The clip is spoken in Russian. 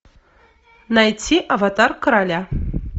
найти аватар короля